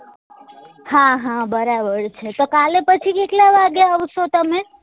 હા હા બરાબર છે તો કાલે પછી કેટલા વાગે આવશો તમે